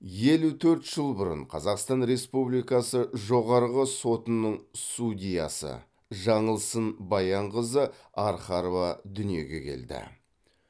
елу төрт жыл бұрын қазақстан республикасы жоғарғы сотының судьясы жаңылсын баянқызы архарова дүниеге келді